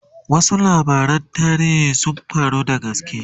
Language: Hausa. wasu labaran tarihi be Dan sun faru da gaske